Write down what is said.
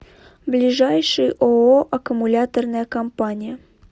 ближайший ооо аккумуляторная компания